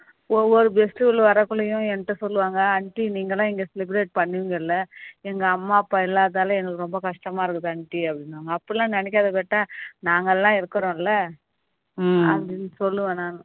ஒவ்வொரு guest களும் வரகுள்ளையும் என்கிட்ட சொல்லுவாங்க நீங்க தான் இங்க celebrate பண்ணின்கல்ல எங்க அம்மா அப்பா இல்லாததால எங்களுக்கு ரொம்ப கஷ்டமா இருக்குது aunty அப்படின்னுவாங்க அப்படி எல்லாம் நினைக்காத நாங்க எல்லாம் இருக்கிறோம் இல்ல அப்படின்னு சொல்லுவோம்